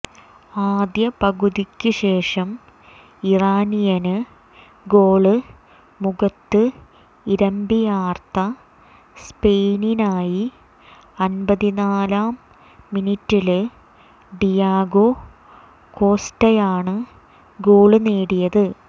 ആദ്യ പകുതിക്ക് ശേഷം ഇറാനിയന് ഗോള് മുഖത്ത് ഇരമ്പിയാര്ത്ത സ്പെയിനായി അന്പത്തിനാലാം മിനിറ്റില് ഡിയാഗോ കോസ്റ്റയാണ് ഗോള് നേടിയത്